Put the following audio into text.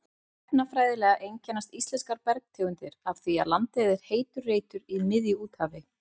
Efnafræðilega einkennast íslenskar bergtegundir af því að landið er heitur reitur í miðju úthafi.